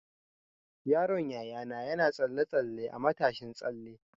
Yaron Yayana na tsalle-tsalle a matashin tsalle.